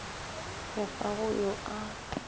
re ga go yo a